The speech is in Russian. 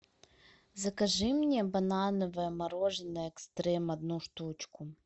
закажи мне банановое мороженое экстрем одну штучку